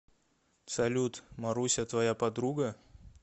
салют маруся твоя подруга